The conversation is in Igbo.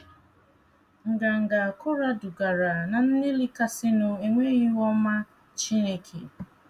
Nganga Kora dugara ná nlelị kasịnụ enweghị ihu ọma Chineke!